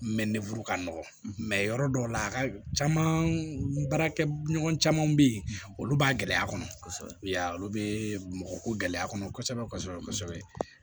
ka nɔgɔ mɛ yɔrɔ dɔw la a ka caa baarakɛɲɔgɔn camanw bɛ yen olu b'a gɛlɛya kɔnɔ i y'a ye olu bɛ mɔgɔ ko gɛlɛya kɔnɔ kosɛbɛ kosɛbɛ